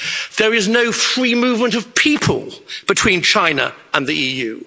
There is no free movement of people between China and the EU.